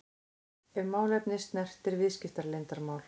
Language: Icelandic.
ef málefni snertir viðskiptaleyndarmál.